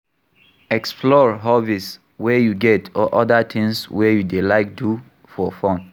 Explore hobbies wey you get or oda things wey you dey like do for fun